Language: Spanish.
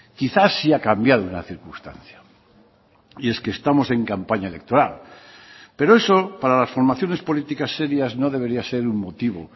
quizás sí ha cambiado una circunstancia y es que estamos en campaña electoral pero eso para las formaciones políticas serias no debería ser un motivo